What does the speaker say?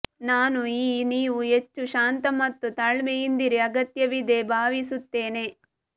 ನಾನು ಈ ನೀವು ಹೆಚ್ಚು ಶಾಂತ ಮತ್ತು ತಾಳ್ಮೆಯಿಂದಿರಿ ಅಗತ್ಯವಿದೆ ಭಾವಿಸುತ್ತೇನೆ